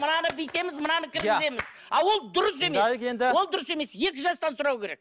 мынаны бүйтеміз мынаны кіргіземіз а ол дұрыс емес ол дұрыс емес екі жастан сұрау керек